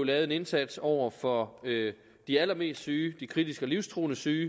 lavet en indsats over for de allermest syge de kritisk og livstruede syge